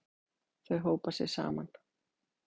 Þau hópa sig saman.